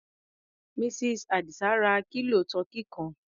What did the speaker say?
Mrs. Àdìsá ra kílò tọkí kan.